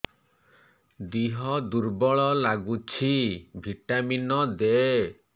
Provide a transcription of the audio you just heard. ଦିହ ଦୁର୍ବଳ ଲାଗୁଛି ଭିଟାମିନ ଦେ